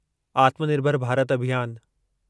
आत्मानिर्भर भारत अभियान